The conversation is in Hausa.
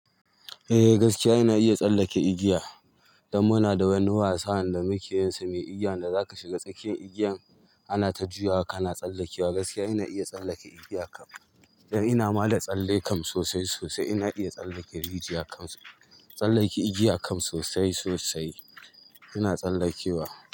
Eh gaskiya ina iya tsallake igiya. Dan muna da wani wasa wanda muke yinsa mai igiya wanda zaka shiga tsakiyar igiyan anata juyawa kana tsallakewa gaskiya ina tsallake igiyan, dan inama da tsalle sosai sosai. Ina iya tsallake rijiya kam, tsallake igiya kam sosai sosai. Ina tsallakewa.